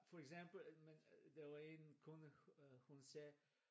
For eksempel der var en kunde hun sagde